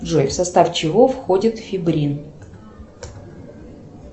джой в состав чего входит фибрин